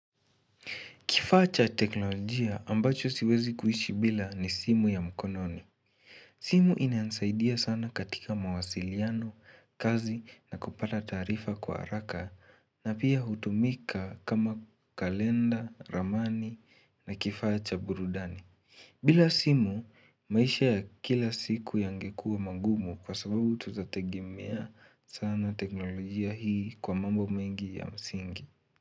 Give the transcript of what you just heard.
Kifaa cha teknolojia ambacho siwezi kuishi bila ni simu ya mkononi. Simu inansaidia sana katika mawasiliano, kazi na kupata taarifa kwa haraka na pia hutumika kama kalenda, ramani na kifaa cha burudani. Bila simu, maisha ya kila siku yange kuwa magumu kwa sababu tutategemea sana teknolojia hii kwa mambo mengi ya msingi.